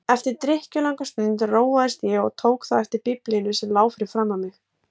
Eftir drykklanga stund róaðist ég og tók þá eftir Biblíunni sem lá fyrir framan mig.